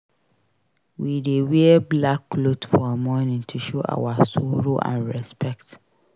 We dey wear black cloth for mourning to show our sorrow and respect.